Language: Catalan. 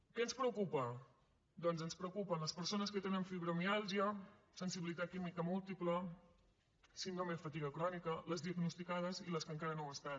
què ens preocupa doncs ens preocupen les persones que tenen fibromiàlgia sensibilitat química múltiple síndrome de fatiga crònica les diagnosticades i les que encara no ho estan